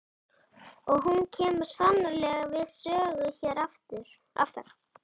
Og hún kemur sannarlega við sögu hér aftar.